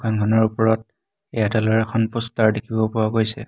দোকানখনৰ ওপৰত এয়াৰটেল ৰ এখন প'ষ্টাৰ দেখিব পোৱা গৈছে।